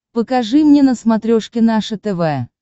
покажи мне на смотрешке наше тв